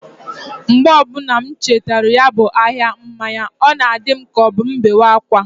Mgbe ọbuna m chetara ya bu ahia mmanya, ọ na-adi m k' ọbụ m bewe akwa.